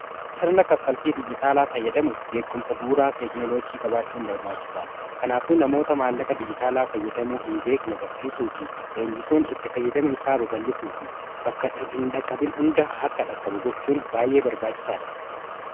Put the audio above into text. sirna kaffaltii dijitaalaa fayyadamuuf beekumsa bu'uraa teeknoloojii qabaachuuin barbaachisaadha kanaafuu namoota maallaqa dijitaalaa fayyadamuu hin beekne barsiisuu fi leenjisuun itti fayyadame isaa babal'isuu fi bakka hin dhaqqabin hundaa akka dhaqqabu gochuun baay'ee barbaachisaa dha